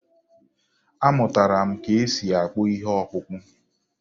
Amụtara m ka e si akpụ ihe ọkpụkpụ.